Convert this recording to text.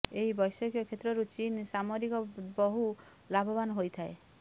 ଏହି ବୈଷୟିକ କ୍ଷେତ୍ରରୁ ଚୀନ୍ ସାମରିକ ବହୁ ଲାଭବାନ ହୋଇଥାଏ